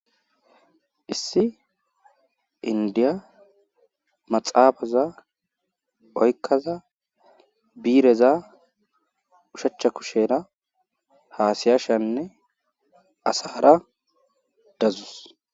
issi indiya maxaabaza oykkaza biireza ushachcha kushera haasiyashanne asara dazus